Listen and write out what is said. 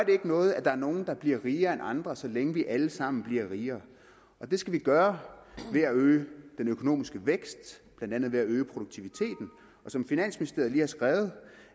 noget at der er nogle der bliver rigere end andre så længe vi alle sammen bliver rigere og det skal vi gøre ved at øge den økonomiske vækst blandt andet ved at øge produktiviteten som finansministeriet lige har skrevet